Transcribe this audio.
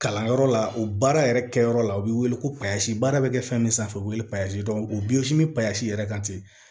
Kalanyɔrɔ la o baara yɛrɛ kɛyɔrɔ la u be wele ko baara bɛ kɛ fɛn min sanfɛ o bɛ wele yɛrɛ kan ten